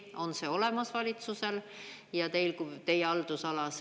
On see olemas valitsusel ja teil kui teie haldusalas?